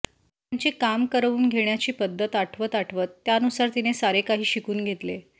त्यांची काम करवून घेण्याची पद्धत आठवत आठवत त्यानुसार तिने सारे काही शिकून घेतले